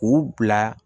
K'u bila